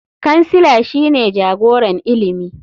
Kansila shine jagoran ilimi.